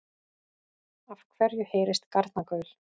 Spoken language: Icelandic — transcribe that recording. Af hverju heyrist garnagaul?